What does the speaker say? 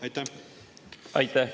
Aitäh!